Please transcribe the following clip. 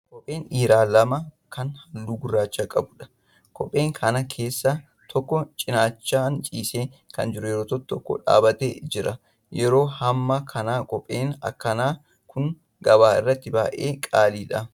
Kophee dhiiraa lama kan halluu gurraacha qabuudha. Kopheen kana keessaa tokko cinaachaan ciisee kan jiru yoo ta'u tokko dhaabbatee jira. Yeroo hammaa kana kopheen akkanaa kun gabaa irraatti baay'ee qaaliidha.